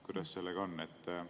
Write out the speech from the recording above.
Kuidas sellega on?